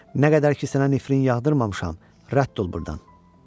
Nə qədər ki sənə nifrin yağdırmamışam, rədd ol burdan!